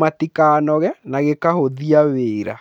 matikanoge na gĩkahũthia wĩra.